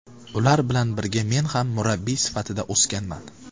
Ular bilan birga men ham murabbiy sifatida o‘sganman”.